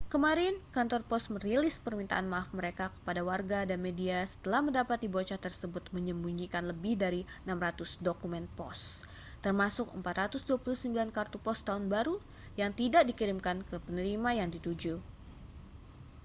kemarin kantor pos merilis permintaan maaf mereka kepada warga dan media setelah mendapati bocah tersebut menyembunyikan lebih dari 600 dokumen pos termasuk 429 kartu pos tahun baru yang tidak dikirimkan ke penerima yang dituju